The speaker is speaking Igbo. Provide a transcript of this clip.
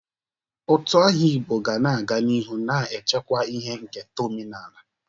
Utu aha Igbo ga na-aga n'ihu na-echekwa ihe nketa omenaala.